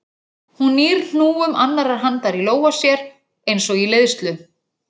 Hún nýr hnúum annarrar handar í lófa sér eins og í leiðslu.